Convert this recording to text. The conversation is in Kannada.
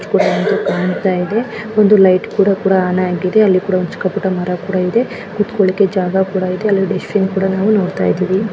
ಕೂಡ ಒಂದು ಕಾಣ್ತಾ ಇದೆ ಒಂದು ಲೈಟ್ ಕೂಡ ಕೊಡ ಆನ್ ಆಗಿದೆ ಅಲ್ಲಿ ಕೂಡ ಚಿಕ್ಕ ಪುಟ್ಟ ಮರ ಕೂಡ ಇದೆ. ಕೂತ್ಕೊಳ್ಳಿಕ್ಕೆ ಜಾಗ ಕೂಡ ಇದೆ ಅಲ್ಲಿ ಡಸ್ಟ್ ಬಿನ್ ಕೂಡ ನಾವು ನೋಡ್ತಾ ಇದೀವಿ.